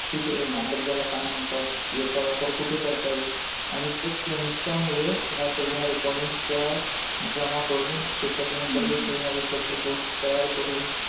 ठीक आहे. या शब्दाला काय म्हणतात, याचा वापर कुठे करता येईल आणि ते त्यांच्या मुले या सगद्या हा recording त्या जमा करून त्याच्यातून नवीन शबद्ध कोश तयार करून